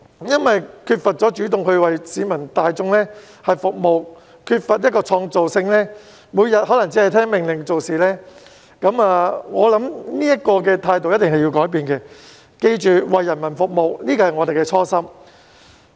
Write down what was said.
他們缺乏主動性為市民大眾服務，缺乏創造性，每天可只聽命令做事，我認為這樣的態度一定要改變，要記着為人民服務是我們的初心。